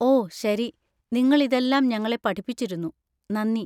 ഓ, ശരി, നിങ്ങൾ ഇതെല്ലാം ഞങ്ങളെ പഠിപ്പിച്ചിരുന്നു, നന്ദി.